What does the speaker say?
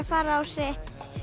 fara á sitt